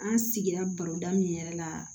An sigira baroda min yɛrɛ la